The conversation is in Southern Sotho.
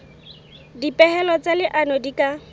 dipehelo tsa leano di ka